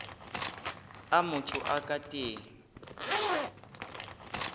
a motho a ka teng